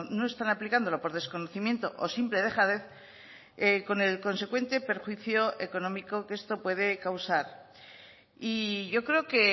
no están aplicándolo por desconocimiento o simple dejadez con el consecuente perjuicio económico que esto puede causar y yo creo que